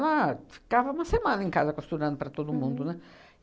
Ela ficava uma semana em casa costurando para todo mundo, né?